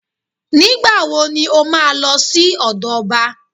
Nígbà wo ni ó máa lọ sí ọ̀dọ̀ ọba